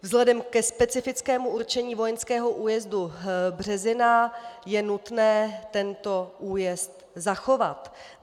Vzhledem ke specifickému určení vojenského újezdu Březina je nutné tento újezd zachovat.